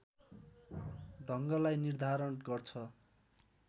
ढङ्गलाई निर्धारण गर्छ।